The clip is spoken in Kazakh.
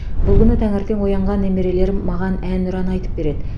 бұл күні таңертең оянған немерелерім маған әнұран айтып береді